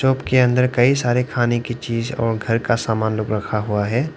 उनके अंदर कई सारे खाने की चीज और घर का सामान लोग रखा हुआ है।